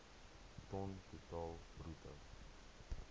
ton totaal bruto